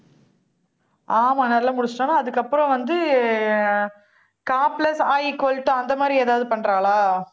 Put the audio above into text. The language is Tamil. ஆமாம், நல்லா முடிச்சிட்டான்னா, அதுக்கப்புறம் வந்து, க plus அ equal to அந்த மாதிரி ஏதாவது பண்றாளா